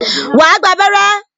Wà á gba abẹrẹ́